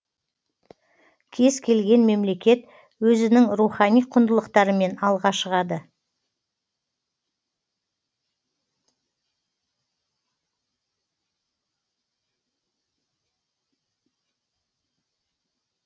кез келген мемлекет өзінің рухани құндылықтарымен алға шығады